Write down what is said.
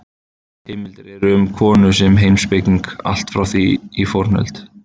Heimildir eru um konur sem heimspekinga allt frá því í fornöld.